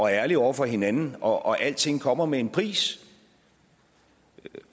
ærlige over for hinanden og alting kommer med en pris